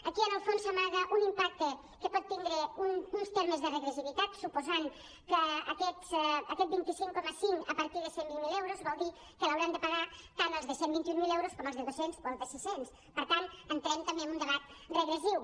aquí en el fons s’amaga un impacte que pot tindre uns termes de regressivitat suposant que aquest vint cinc coma cinc a partir de cent i vint miler euros vol dir que l’hauran de pagar tant els de cent i vint mil com els de dos cents o els de sis cents per tant entrem també en un debat regressiu